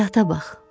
Həyata bax.